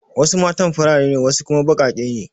Wasu matan farare ne wasu kuma baƙaƙe ne.